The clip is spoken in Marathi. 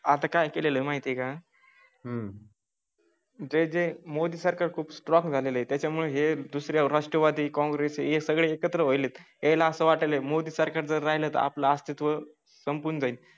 आता काय केले आहे का? हम्म जे जे मोदी सरकार खूप स्ट्रॉंग झाले आहे. त्यामुळे हे दुसरं राष्ट्रवादी कॉंग्रेस हे सगळे एकत्र होईल यायला असं वाटत आहे. मोदीं सारखे जर राहिले तर आपलं अस्तित्व संपून जाईल.